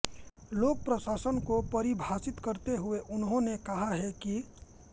लोक प्रशासन को परिभाषित करते हुए उन्होंने कहा है कि